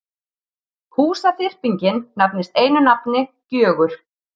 Húsaþyrpingin nefnist einu nafni Gjögur.